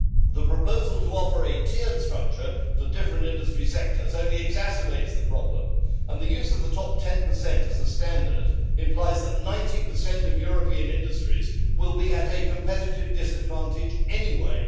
The proposal to offer a tiered structure for different industry sectors only exacerbates the problem, and the use of the top 10 as a standard implies that 90 of European industries will be at a competitive disadvantage anyway.